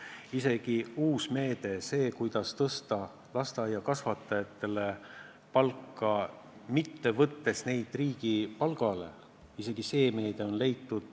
On isegi leitud see uus meede, kuidas tõsta lasteaiakasvatajate palka, võtmata neid riigi palgale.